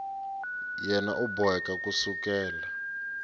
yena u boheka ku sukela